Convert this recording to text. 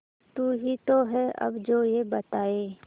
तू ही तो है अब जो ये बताए